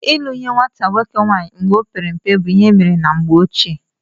Ịlụ nye nwata nwoke nwaanyị mgbe ọ pere mpe bụ ihe emere na mgbe ochie